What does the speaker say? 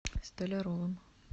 столяровым